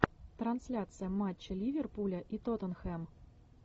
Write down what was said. трансляция матча ливерпуля и тоттенхэм